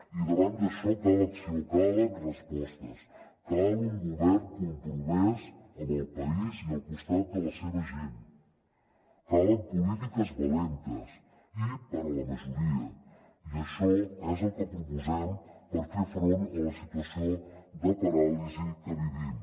i davant d’això cal acció calen respostes cal un govern compromès amb el país i al costat de la seva gent calen polítiques valentes i per a la majoria i això és el que proposem per fer front a la situació de paràlisi que vivim